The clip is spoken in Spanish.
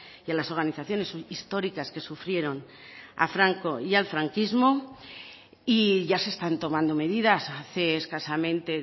y a las organizaciones históricas que sufrieron a franco y al franquismo y ya se están tomando medidas hace escasamente